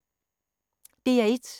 DR1